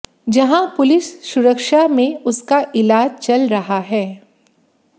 जहां पुलिस सुरक्षा में उसका इलाज चल रहा है